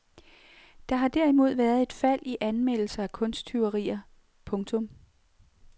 Der har derimod været et fald i anmeldelser af kunsttyverier. punktum